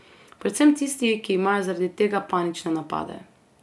Predvsem tisti, ki imajo zaradi tega panične napade.